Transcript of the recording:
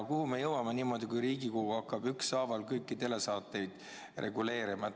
Kuhu me niimoodi jõuame, kui Riigikogu hakkab ükshaaval kõiki telesaateid reguleerima?